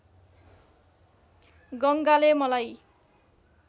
गङ्गाले मलाई